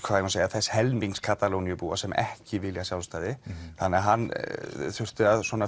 þess helmings Katalóníubúa sem ekki vilja sjálfstæði þannig hann þurfti að